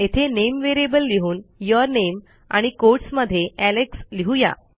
येथे name variable लिहून your name आणि quotesमध्ये एलेक्स लिहूया